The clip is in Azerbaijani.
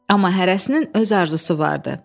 amma hərəsinin öz arzusu vardı.